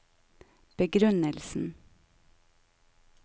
begrunnelsen